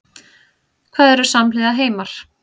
Hvað eru samhliða heimar?